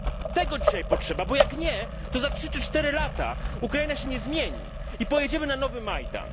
Tego dzisiaj potrzeba, bo jak nie, to za trzy czy cztery lata Ukraina się nie zmieni i pojedziemy na nowy Majdan.